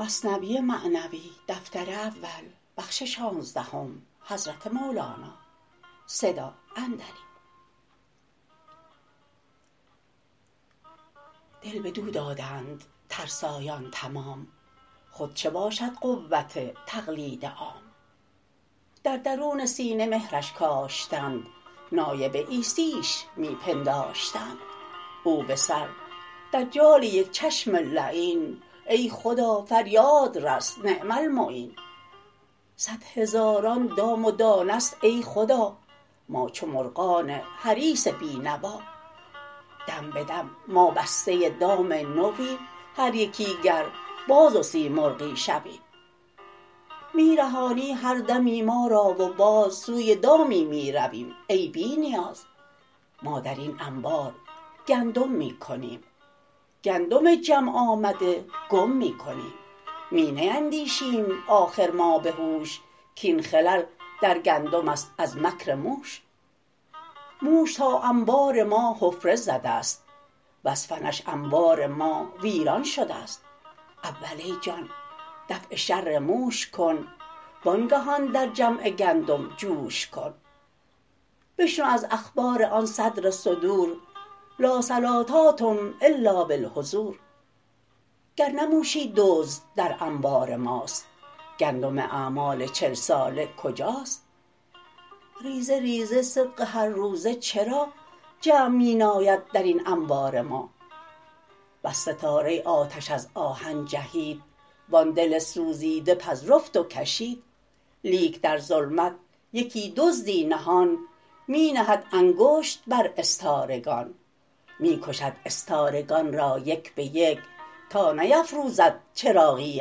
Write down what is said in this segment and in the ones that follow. دل بدو دادند ترسایان تمام خود چه باشد قوت تقلید عام در درون سینه مهرش کاشتند نایب عیسیش می پنداشتند او به سر دجال یک چشم لعین ای خدا فریاد رس نعم المعین صد هزاران دام و دانه ست ای خدا ما چو مرغان حریص بی نوا دم بدم ما بسته دام نویم هر یکی گر باز و سیمرغی شویم می رهانی هر دمی ما را و باز سوی دامی می رویم ای بی نیاز ما درین انبار گندم می کنیم گندم جمع آمده گم می کنیم می نیندیشیم آخر ما بهوش کین خلل در گندمست از مکر موش موش تا انبار ما حفره زدست وز فنش انبار ما ویران شدست اول ای جان دفع شر موش کن وانگهان در جمع گندم جوش کن بشنو از اخبار آن صدر الصدور لا صلوة تم الا بالحضور گر نه موشی دزد در انبار ماست گندم اعمال چل ساله کجاست ریزه ریزه صدق هر روزه چرا جمع می ناید درین انبار ما بس ستاره آتش از آهن جهید وان دل سوزیده پذرفت و کشید لیک در ظلمت یکی دزدی نهان می نهد انگشت بر استارگان می کشد استارگان را یک به یک تا که نفروزد چراغی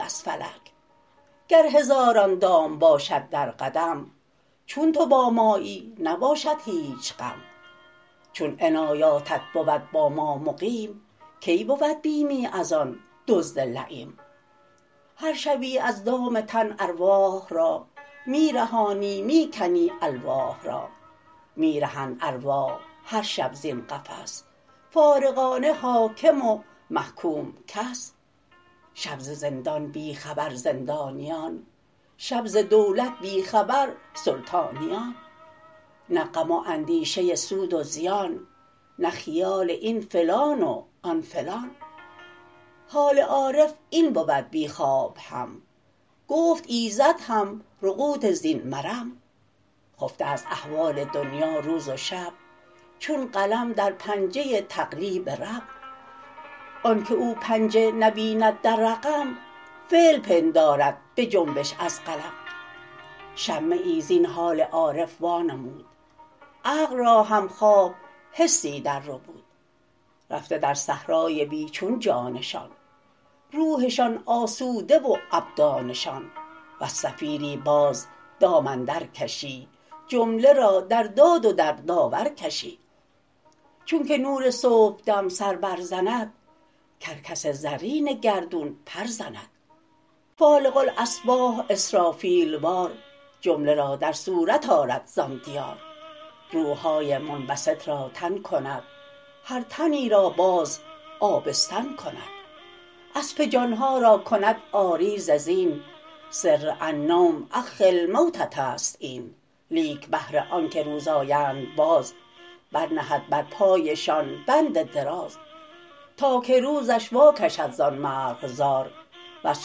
از فلک گر هزاران دام باشد در قدم چون تو با مایی نباشد هیچ غم چون عنایاتت بود با ما مقیم کی بود بیمی از آن دزد لییم هر شبی از دام تن ارواح را می رهانی می کنی الواح را می رهند ارواح هر شب زین قفس فارغان نه حاکم و محکوم کس شب ز زندان بی خبر زندانیان شب ز دولت بی خبر سلطانیان نه غم و اندیشه سود و زیان نه خیال این فلان و آن فلان حال عارف این بود بی خواب هم گفت ایزد هم رقود زین مرم خفته از احوال دنیا روز و شب چون قلم در پنجه تقلیب رب آنک او پنجه نبیند در رقم فعل پندارد بجنبش از قلم شمه ای زین حال عارف وا نمود عقل را هم خواب حسی در ربود رفته در صحرای بی چون جانشان روحشان آسوده و ابدانشان وز صفیری باز دام اندر کشی جمله را در داد و در داور کشی چونک نور صبحدم سر بر زند کرکس زرین گردون پر زند فالق الاصباح اسرافیل وار جمله را در صورت آرد زان دیار روحهای منبسط را تن کند هر تنی را باز آبستن کند اسپ جانها را کند عاری ز زین سر النوم اخ الموتست این لیک بهر آنک روز آیند باز بر نهد بر پایشان بند دراز تا که روزش واکشد زان مرغزار وز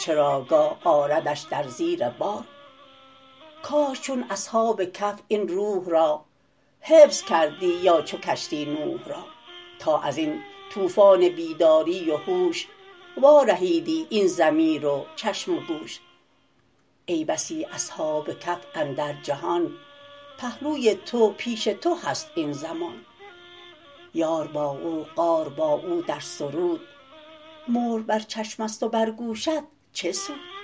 چراگاه آردش در زیر بار کاش چون اصحاب کهف این روح را حفظ کردی یا چو کشتی نوح را تا ازین طوفان بیداری و هوش وا رهیدی این ضمیر و چشم و گوش ای بسی اصحاب کهف اندر جهان پهلوی تو پیش تو هست این زمان یار با او غار با او در سرود مهر بر چشمست و بر گوشت چه سود